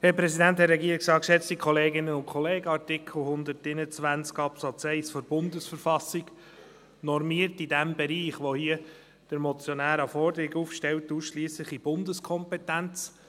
Artikel 121 Absatz 1 der Bundesverfassung der Schweizerischen Eidgenossenschaft (BV) normiert im Bereich, in dem der Motionär eine Forderung aufstellt, ausschliesslich in Bundeskompetenz.